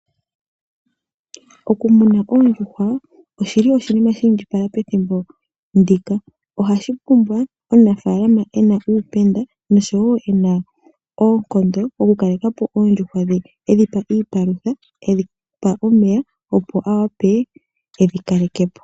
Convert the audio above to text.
Oku muna Oondjuhwa oshili oshinima shi indjipala pethimbo ndika, ohashi pumbwa omunafaalama ena uupenda nosho wo ena oonkondo oku kaleka po Oondjuhwa dhe. Edhipa iipalutha, edhipa omeya opo awape edhi kaleke po.